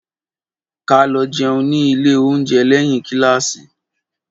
Ká lõ jeun ní ìlé ounjé lèhín kílássí